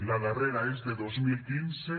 la darrera és de dos mil quinze